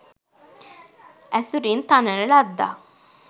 ඇසුරින් තනන ලද්දක්